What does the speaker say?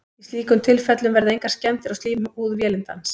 í slíkum tilfellum verða engar skemmdir á slímhúð vélindans